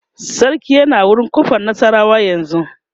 sarki yana wurin ƙofar nasarawa yanzun